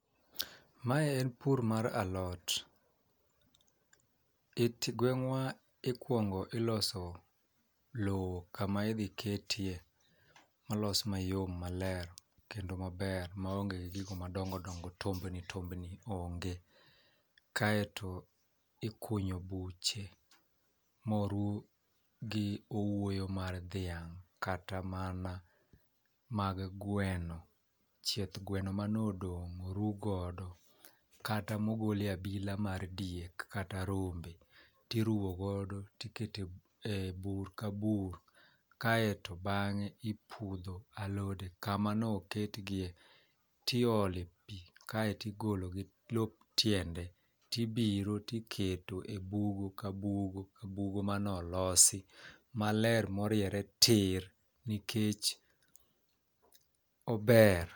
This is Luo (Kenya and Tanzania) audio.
Mae en pur mar alot iti egweng'wa ikuongo iloso lowo kama idhi ketie, molos mayom maler kendo maber ma onge gi gigo madongodongo tombni tombni onge. Kaeto ikunyo buche moruw gi owuoyo mar dhiang' kata mana mag gweno ,chieth gweno manodong' oru godo kata mogole abila mar diek kata rombe. Tiruwo godo tikete bur ka bur kaeto bang'e ipudho alode kama no ket gie . tiole pii kaeti golo gi lop tiende tibiro tikete e bugo ka bugo ka bugo manolosi maler moriere tir nikech ober .